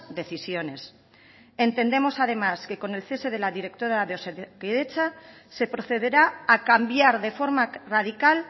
decisiones entendemos además que con el cese de la directora de osakidetza se procederá a cambiar de forma radical